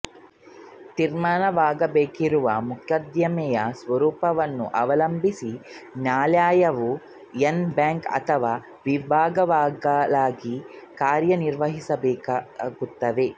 ತೀರ್ಮಾನವಾಗಬೇಕಿರುವ ಮೊಕದ್ದಮೆಯ ಸ್ವರೂಪವನ್ನು ಅವಲಂಬಿಸಿ ನ್ಯಾಯಾಲಯವು ಎನ್ ಬ್ಯಾಂಕ್ ಅಥವಾ ವಿಭಾಗಗಳಾಗಿ ಕಾರ್ಯ ನಿರ್ವಹಿಸುತ್ತವೆ